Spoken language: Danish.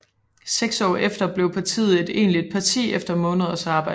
Seks år efter blev partiet et egentligt parti efter måneders arbejde